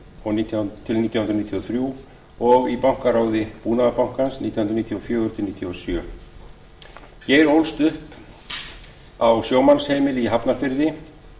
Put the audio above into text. og nítján hundruð níutíu og þrjú og í bankaráði búnaðarbankans nítján hundruð níutíu og fjögur til nítján hundruð níutíu og sjö geir ólst upp á sjómannsheimili í hafnarfirði